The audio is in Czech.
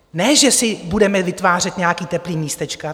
Ne že si budeme vytvářet nějaká teplá místečka.